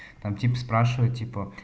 там тип спрашивает типа